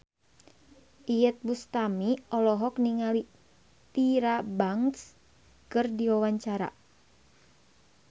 Iyeth Bustami olohok ningali Tyra Banks keur diwawancara